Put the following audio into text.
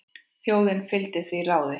Þjóðin fylgdi því ráði.